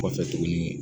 Kɔfɛ tuguni